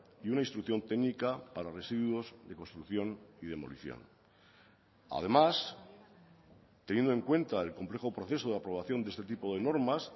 y una instrucción técnica para residuos de construcción y demolición además teniendo en cuenta el complejo proceso de aprobación de este tipo de normas